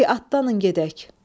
De adlanın gedək.